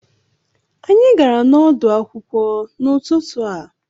Anyị gara n'ọdụ̀ akwụkwọ n'ututu a